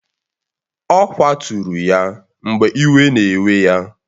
Ọ kwaturu ya mgbe iwe na-ewe ya